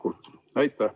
Aitäh!